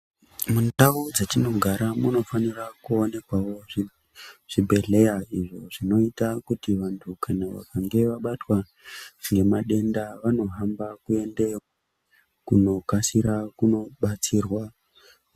Mundau dzetinogara munofanira kuonekwawo zvibhedhera, izvi zvinoita kuti vantu vakange vabatwa ngematenda vanohamba kuendeyo kunokasira kudetserwa.